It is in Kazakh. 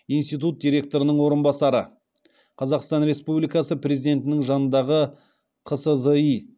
институт директорының орынбасары қазақстан республикасы президентінің жанындағы қсзи